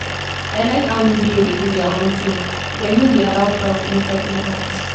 I like how UBA dey do their own thing, dem no dey allow crowd inside like that